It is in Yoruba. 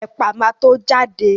Ẹ̀pà ma tó jáde